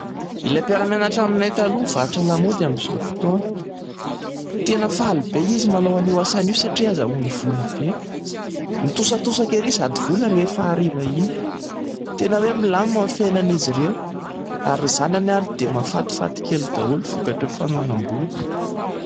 Ilay mpiara-mianatra aminay taloha nivarotra lamaody amin'izao fotoana. Tena faly be izy manao anio asany io a satria ahazoany vola be, nitosatosaka erỳ izato vola rehefa hariva iny. Tena hoe milamina ny fiainan'izy ireo ary ny zanany ary dia mahafatifaty kely daholo vokatr'ireo fananam-bola.